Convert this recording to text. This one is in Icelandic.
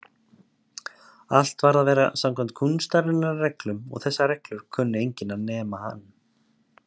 Allt varð að vera samkvæmt kúnstarinnar reglum og þessar reglur kunni enginn nema hann.